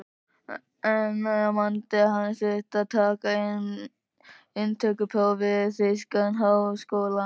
Einn nemandi hans þurfti að taka inntökupróf við þýskan háskóla.